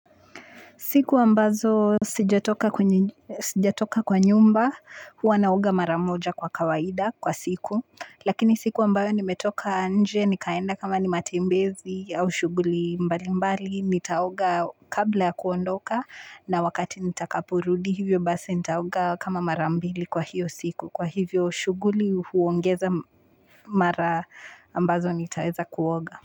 Siku ambazo sijatoka kwa nyumba huwa naoga mara moja kwa kawaida kwa siku. Lakini siku ambayo nimetoka nje nikaenda kama ni matembezi au shughuli mbalimbali nitaoga kabla ya kuondoka na wakati nitakaporudi hivyo basi nitaoga kama mara mbili kwa hiyo siku kwa hivyo shughuli huongeza mara ambazo nitaeza kuoga.